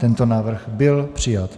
Tento návrh byl přijat.